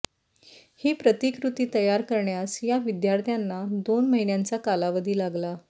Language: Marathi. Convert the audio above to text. ही प्रतिकृती तयार करण्यास या विध्यार्थ्यांना दोन महिन्यांचा कालावधी लागला